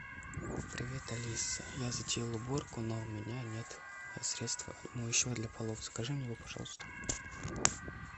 привет алиса я затеял уборку но у меня нет средства моющего для полов закажи мне его пожалуйста